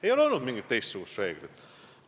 Ei ole olnud mingit teistsugust reeglit!